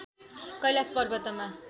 कैलाश पर्वतमा